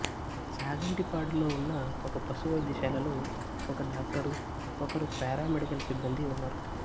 చాగంటిపాడులో ఉన్న ఒక పశు వైద్యశాలలో ఒక డాక్టరు ఒకరు పారామెడికల్ సిబ్బందీ ఉన్నారు